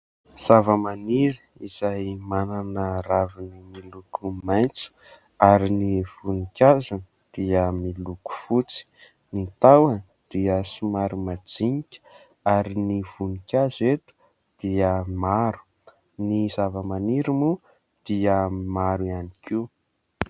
Zavamaniry izay manana raviny miloko maitso ary ny voninkazony dia miloko fotsy. Ny tahony dia somary madinika, ary ny voninkazo eto dia maro. Ny zavamaniry moa dia maro ihany koa.